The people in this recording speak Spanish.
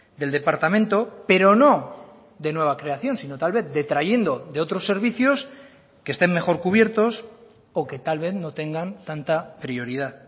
del departamento pero no de nueva creación sino tal vez detrayendo de otros servicios que estén mejor cubiertos o que tal vez no tengan tanta prioridad